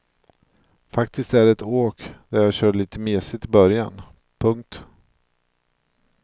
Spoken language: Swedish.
Faktiskt är det ett åk där jag körde lite mesigt i början. punkt